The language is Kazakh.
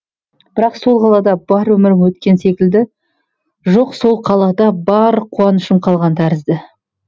бірақ сол қалада бар өмірім өткен секілді жоқ сол қалада бар қуанышым қалған тәрізді